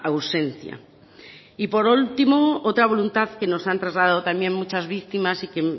ausencia y por último otra voluntad que nos han trasladado también muchas víctimas y que